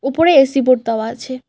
উপরে AC board দেওয়া আছে।